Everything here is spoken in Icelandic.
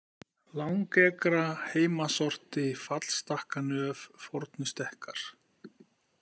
Langekra, Heimasorti, Fallstakkanöf, Fornustekkar